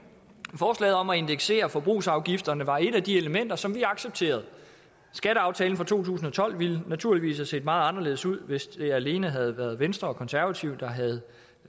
forslaget om at indeksere forbrugsafgifterne var et af de elementer som vi accepterede skatteaftalen fra to tusind og tolv ville naturligvis have set meget anderledes ud hvis det alene havde været venstre og konservative der havde